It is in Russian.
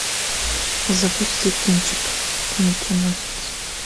запусти кинчик меченосец